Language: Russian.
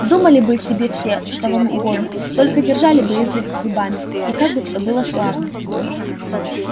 думали бы себе все что вам угодно только держали бы язык за зубами и как бы всё было славно